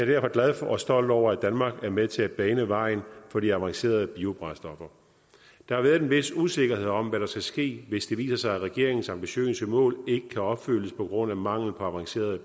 derfor glad for og stolt over at danmark er med til at bane vejen for de avancerede biobrændstoffer der har været en vis usikkerhed om hvad der skal ske hvis det viser sig at regeringens ambitiøse mål ikke kan opfyldes på grund af mangel på avancerede